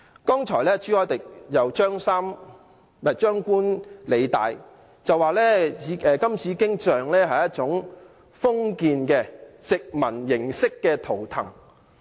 剛才朱凱廸議員張冠李戴，說金紫荊雕塑是一種封建、殖民式圖騰。